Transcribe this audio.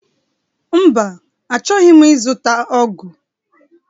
Mba, Achọghị m ịzụta ọgụ